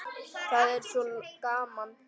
Það er svo gaman.